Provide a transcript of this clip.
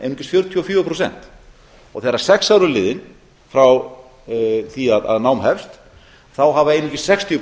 einungis fjörutíu og fjögur prósent og þegar sex ár eru liðin frá því að nám hefst hafa einungis sextíu